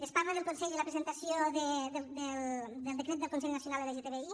es parla del consell i la presentació del decret del consell nacional lgtbi